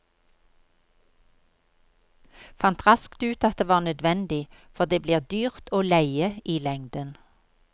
Fant raskt ut at det var nødvendig, for det blir dyrt å leie i lengden.